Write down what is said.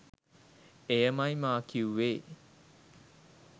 එයමයි මා කිවුවේ.